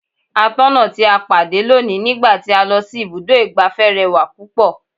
Atọ́nà tí a pàdé lónìí ní gba ti a lọ si ibùdó igbàfẹ́ rẹwà púpọ̀.